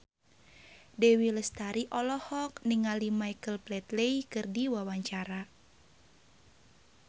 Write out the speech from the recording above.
Dewi Lestari olohok ningali Michael Flatley keur diwawancara